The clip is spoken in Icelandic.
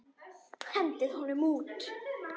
Hendið honum út!